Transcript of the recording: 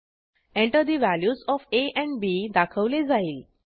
Enter the values of A and B दाखवले जाईल